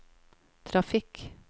trafikk